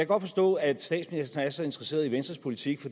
godt forstå at statsministeren er så interesseret i venstres politik